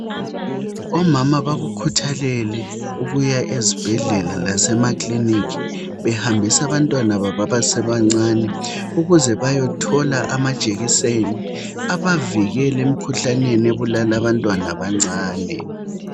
Omama bakukhuthalele ukuya ezibhedlela lasemakiliniki behambisa abantwana babo abasebancane ukuze bayothola amajekiseni abavikela emkhuhlaneni ebulala abantwana abancane.